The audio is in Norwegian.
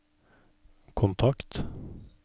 kontakt